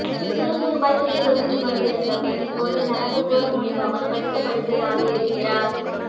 சுறுசுறுப்பாய் துள்ளிக்குதித்துக் கொண்டிருந்த பெண் இப்போது நடமாடக்கூட முடியாமல் படுத்த படுக்கையாக இருக்கிறார்